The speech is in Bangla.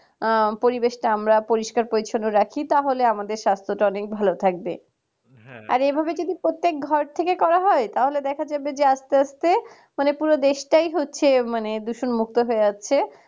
পরিবেশ তো আমরা পরিষ্কার পরিচ্ছন্ন রাখি তাহলে আমাদের সাস্থটা অনেক ভালো থাকবে আর এভাবে যদি প্রত্যেক ঘর থেকে করা হয় তাহলে দেখা যাবে যে আস্তে আস্তে পুরো দেশটাই হচ্ছে মানে দূষণমুক্ত হয়ে আছে